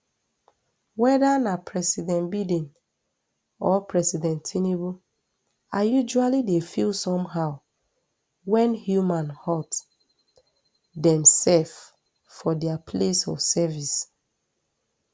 weda na president biden or president tinubu i usually dey feel somehow wen human hurt demsef for dia place of service